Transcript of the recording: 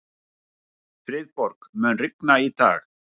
Friðborg, mun rigna í dag?